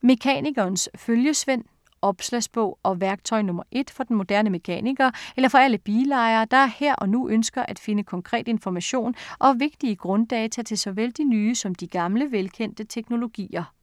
Mekanikerens følgesvend Opslagsbog og værktøj nr. 1 for den moderne mekaniker eller for alle bilejere, der her og nu ønsker at finde konkret information og vigtige grunddata til såvel de nye som de gamle, velkendte teknologier.